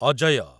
Ajay